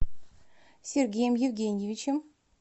сергеем евгеньевичем